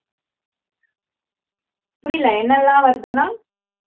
புரியல என்னெல்லாம் வருதுன்னா